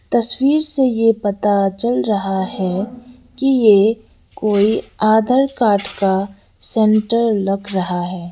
तस्वीर से ये पता चल रहा है कि ये कोई आदर कार्ड का सेंटर लग रहा है।